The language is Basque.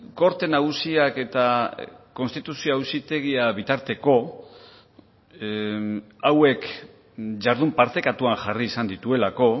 korte nagusiak eta konstituzio auzitegia bitarteko hauek jardun partekatuan jarri izan dituelako